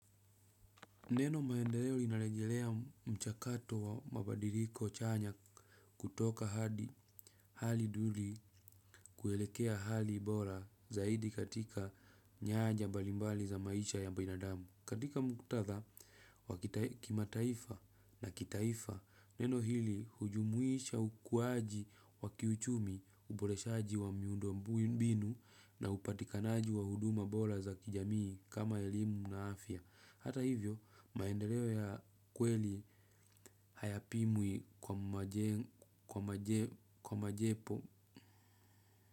Neno maendeleo inarejelea mchakato wa mabadiliko chanya kutoka hadi hali duni kuelekea hali bora zaidi katika nyaja mbalimbali za maisha ya binadamu. Katika mkutadha wa kimataifa na kitaifa, neno hili hujumuisha ukuaji wa kiuchumi uboreshaji wa miundo mbinu na upatikanaji wa huduma bora za kijamii kama elimu na afya. Hata hivyo maendeleo ya kweli hayapimwi kwa majepo.